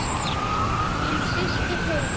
Þín systir Heiða.